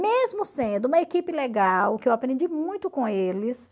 Mesmo sendo uma equipe legal, que eu aprendi muito com eles,